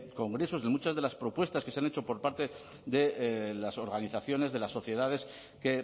congresos de muchas de las propuestas que se han hecho por parte de las organizaciones de las sociedades que